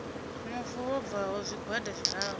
mufu vho bvaho zwigwada zwiraru